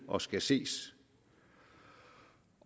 og skal ses